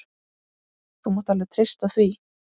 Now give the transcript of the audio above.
Þú mátt alveg treysta því.